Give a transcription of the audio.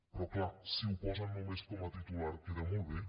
però clar si ho posen només com a titular queda molt bé